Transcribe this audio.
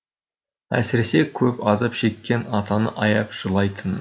әсіресе көп азап шеккен атаны аяп жылайтынмын